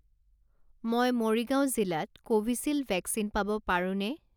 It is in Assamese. মই মৰিগাঁও জিলাত কোভিচিল্ড ভেকচিন পাব পাৰোঁনে?